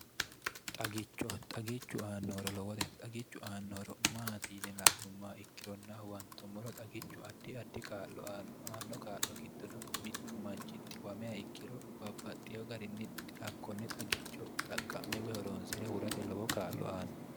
xagicho xagichu aannohoro lowote xagichu aannohoro maati yine la'nummaa ikkironnahuwantommoro xagichu addi addi kaa'lo aanno aanno kaa'lo giddono mittu manchitti wamea ikkiro babbaxxieyo garinni nakkonne xagicho xaqqa'me wehoroonsi're hurate lowo kaallo aanno